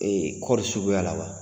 kɔɔri suguya la wa?